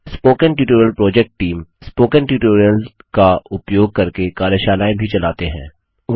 spoken tutorial project team spoken tutorial का उपयोग करके कार्यशालाएँ भी चलाते हैं